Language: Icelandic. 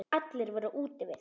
Allir voru úti við.